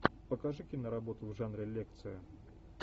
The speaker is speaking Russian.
покажи киноработу в жанре лекция